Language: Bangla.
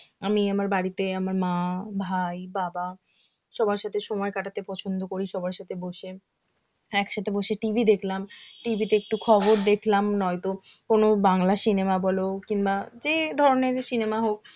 আমি আমার বাড়িতে আমার মা, ভাই, বাবা সবার সাথে সময় কাটাতে পছন্দ করি সবার সাথে বসে একসাথে বসে TV দেখলাম TV তে একটু খবর দেখলাম নয় তো কোন বাংলা cinema বলো, কিংবা যে ধরনের cinema হোক